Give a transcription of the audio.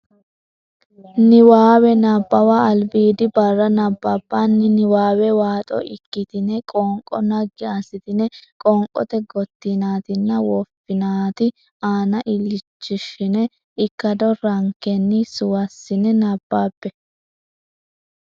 Niwaawe Nabbawa Albiidi barra nabbabbini niwaawe waaxo ikkitine qoonqo naggi assitine qoonqote gottinaatinna woffinaati aana illachishshine ikkado rankenni suwissine nabbabbe.